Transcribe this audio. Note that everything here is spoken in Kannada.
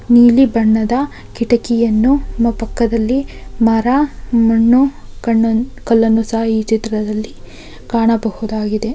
ನೀಲಿ ಬಣ್ಣದ ಕಿಟಕಿಯನ್ನು ಮ ಪಕ್ಕದಲ್ಲಿ ಮರ ನನ್ನು ಕನ ಕಲನ್ನು ಸಹ ಈ ಚಿತ್ರದಲ್ಲಿ ಕಾಣಬಹುದಾಗಿದೆ.